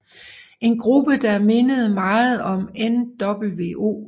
En gruppe der mindede meget om nWo